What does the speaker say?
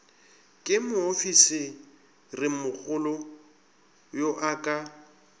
ke moofisirimogolo yo a ka